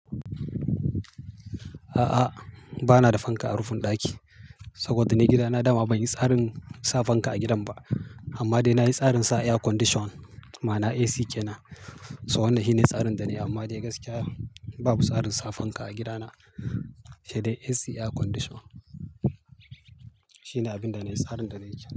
A'a, ba na da fanka a rufin ɗaki saboda ni gidana dama ban yi tsarin sa fanka a gidan ba. Amma dai na yi tsarin sa air condition, ma'ana AC kenan. So wannan shi ne tsarin da nai, amma dai gaskiya babu tsarin sa fanka a gidana, sai dai AC air condition. Shi ne abin da na yi, tsarin da na yi kenan.